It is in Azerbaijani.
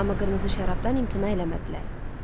Amma qırmızı şərabdan imtina eləmədilər.